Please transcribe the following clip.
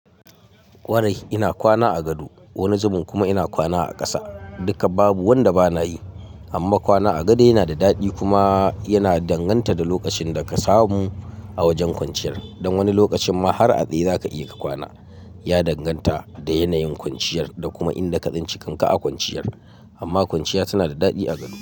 Ƙwarai ina kwana a gado wani zubun kuma ina kwana a ƙasa. Duka babu wanda bana yi, amma kwana a gado yana da daɗi kuma yana danganta da lokacin da ka samu a wajen kwanciyar. Don wani lokacin ma har a tsaye za ka iya ka kwana. Ya danganta da yanayin kwanciyar da kuma inda katsinci kanka a kwanciyar. Amma kwanciya tana da daɗi a gado.